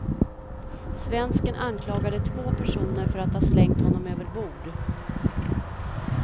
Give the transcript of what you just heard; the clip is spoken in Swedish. Svensken anklagade två personer för att ha slängt honom överbord.